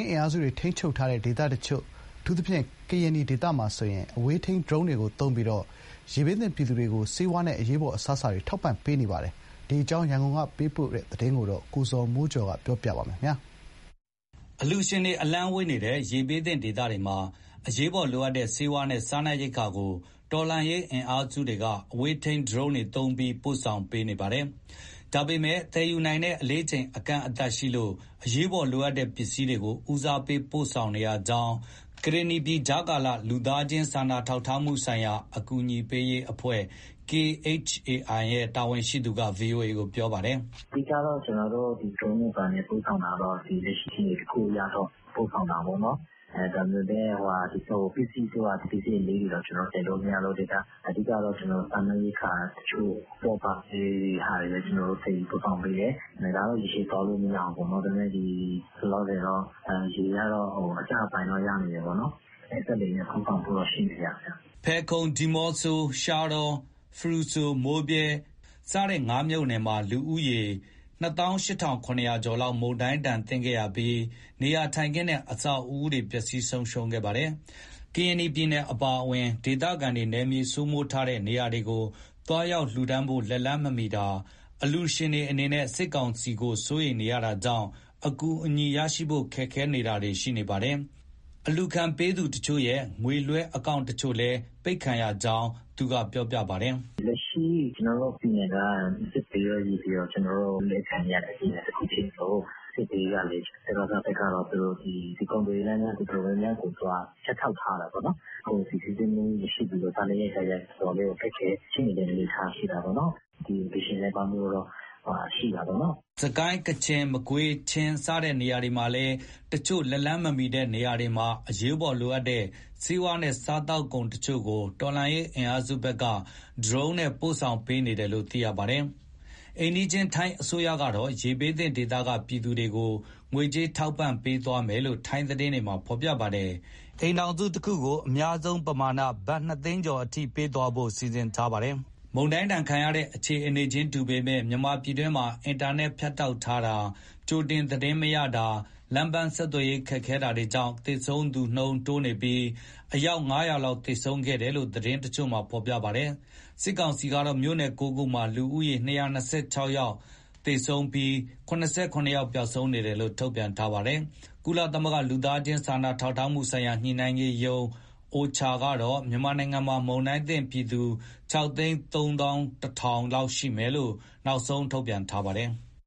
းအင်အားစုတွေ ထိန်းချုပ်ထားတဲ့ ဒေသတချို့ အထူးသဖြင့် ကရင်နီဒေသမှာ အဝေးထိန်းဒရုန်းတွေသုံးပြီး ရေဘေးသင့်ပြည်သူတွေအတွက် ဆေးဝါးနဲ့အရေးပေါ် အစားအစာတွေ ထောက်ပံ့ပေးနေပါတယ်။ ဒီအကြောင်း ရန်ကုန်ကပေးပို့တဲ့သတင်းကို ကိုဇော်မိုးကျော်က တင်ပြပေးထားပါတယ်။ အလှူရှင်တွေ အလှမ်းဝေးနေတဲ့ ရေဘေးသင့်ဒေသတွေမှာ အရေးပေါ်လိုအပ်တဲ့ ဆေးဝါးနဲ့စားနပ်ရိက္ခာတွေကို တော်လှန်ရေးအင်အားစုတွေက အဝေးထိန်း ဒရုန်းတွေသုံးပြီး ပို့ဆောင်ပေးနေပါတယ်။ ဒါပေမဲ့ သယ်ယူနိုင်တဲ့အလေးချိန်က အကန့်အသတ်ရှိလို့ အရေးပေါ်လိုအပ်တဲ့ ပစ္စည်းတွေကို ဦးစားပေး ပို့ပေးနေရကြောင်း ကရင်နီပြည် ကြားကာလ လူသားချင်းစာနာ ထောက်ထားမှုဆိုင်ရာ အကူအညီပေးရေးအဖွဲ့ ရဲ့ တာဝန်ရှိသူက ဗွီအိုအေကို ပြောပါတယ်။ "အဓိက ကျနော်တို့ ဒရုန်းတွေဘာတွေနဲ့ပို့ဆောင်တာက လက်ရှိ အခြေအနေတခုအရ ပို့ဆောင်တာပေါ့နော်၊ ဒါပေမဲ့ ပစ္စည်းအလေးကြီးတွေ တော့ သယ်လို့မရလို့ အဓိက စားနပ်ရိက္ခာတချို့ အပေါ့အပါးလေးတွေပဲ သယ်ယူပို့ဆောင်ပေးတယ်။ ဒါကတော့ ရေရှည်သွားလို့ မရဘူးပေါ့နော်၊ ဒါပေမဲ့ လောလောဆယ် ရေကတော့ အကျပိုင်းတော့ ရောက်နေတယ်ပေါ့နော်။ ရေကျလာရင် ကျနော်တို့ စက်လှေနဲ့ ပို့ဆောင်ဖို့တော့ ရှိတယ်ဗျ။" ဖယ်ခုံ၊ ဒီမော့ဆို၊ ရှားတော၊ ဖရူဆို၊ မိုးဗြဲ ဒီငါးမြို့နယ်မှာ လူဦးရေက ၂၈,၇၀၀ ကျော်လောက် မုန်တိုင်းဒဏ်ခံခဲ့ရပြီး နေရာထိုင်ခင်းနဲ့ အဆောက်အဦတွေ ပျက်စီးဆုံးရှုံးခဲ့ပါတယ်။ ကရင်နီပြည်နယ်အပါအဝင် ဒေသခံတွေ နယ်မြေစိုးမိုးထားတဲ့ နေရာတွေကို သွားရောက်လှူဒါန်းဖို့ လက်လှမ်းမမီတာ၊ အလှူရှင်တွေအနေနဲ့ စစ်ကောင်စီကို စိုးရိမ်နေရတာကြောင့် အကူအညီရရှိဖို့ အခက်အခဲတွေရှိနေပါတယ်။ အလှူခံပေးသူတချို့ရဲ့ ငွေလွှဲအကောင့်တချို့လည်း အပိတ်ခံရကြောင်း သူကပြောပါတယ်။ "လက်ရှိ ကျနော်တို့ပြည်နယ်က စစ်ဘေးရော၊ ရေဘေးရော အလူးအလဲခံနေရတဲ့ ပြည်နယ်တခုဖြစ်သလို စစ်ဘေးကလည်း စကစဘက်က ကုန်သွယ်ရေးလမ်းကြောင်း တော်တော်များများကို သူက ဖြတ်တောက် ထားတာပေါ့နော်။ ကုန်စည်စီးဆင်းမှု မရှိသလို စားနပ်ရိက္ခာက တော်တော်လေး ခက်ခဲတဲ့အနေအထား ရှိတာပေါ့နော်။ အလှူရှင်နည်းပါးမှုကတော့ ရှိတာပေါ့နော်။" စစ်ကိုင်း၊ ကချင်၊ မကွေး၊ ချင်း စတဲ့နေရာတွေမှာလည်း တချို့လက်လှမ်းမမီတဲ့ နေရာတွေမှာ အရေးပေါ်လိုအပ်တဲ့ ဆေးဝါးနဲ့ စားသောက်ကုန် တချို့ကို တော်လှန်ရေးအင်အားစုတွေဘက်က ဒရုန်းနဲ့ ပို့ဆောင်ပေးနေတယ်လို့ သိရပါတယ်။ အိမ်နီးချင်း ထိုင်းအစိုးရကတော့ ရေဘေးသင့်ဒေသက သူတို့ပြည်သူတွေကို ငွေကြေးထောက်ပံ့ပေးသွားမယ်လို့ ထိုင်းသတင်းတွေက ဖော်ပြပါတယ်။ အိမ်ထောင်စုတခုကို အများဆုံးပမာဏ ဘတ်နှစ်သိန်းကျော်အထိ ပေးသွားဖို့ စီစဉ်ထားတာပါ။ မုန်တိုင်းဒဏ်ခံရတဲ့ အခြေအနေခြင်းတူပေမဲ့ မြန်မာပြည်တွင်းမှာ အင်တာနက် ဖြတ်တောက်ထားတာ၊ ကြိုတင်သတင်းမရတာ၊ လမ်းပန်းဆက်သွယ်ရေး ခက်ခဲတာတွေကြောင့် သေဆုံးသူတိုးနေတုန်းဖြစ်ပြီး အယောက် ၅၀၀ လောက် သေဆုံးခဲ့တယ်လို့ သတင်းတချို့က ဖော်ပြပါတယ်။ စစ်ကောင်စီကတော့ မြို့နယ် ၉ ခုမှာ လူဦးရေ ၂၂၆ ဦးသေဆုံးပြီး ၇၇ ယောက် ပျောက်ဆုံးနေတယ်လို့ ထုတ်ပြန်ထားပါတယ်။ ကုလသမဂ္ဂ လူသားချင်း စာနာထောက်ထားမှုဆိုင်ရာ ညှိနှိုင်းရေးရုံး ကတော့ မြန်မာနိုင်ငံမှာ မုန်တိုင်းသင့်ပြည်သူ ၆၃၁,၀၀၀ လောက်ရှိမယ်လို့ နောက်ဆုံး ထုတ်ပြန်ထားပါတယ်။